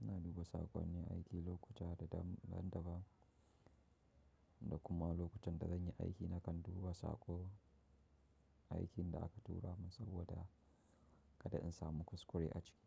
Ina duba saƙonni aiki lokuta da daban, da kuma lokutan da zan yi aiki na kan duba saƙo aikin da aka tura min saboda kada in samu kuskure a ciki.